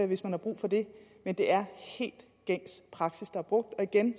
hvis man har brug for det men det er helt gængs praksis der er brugt igen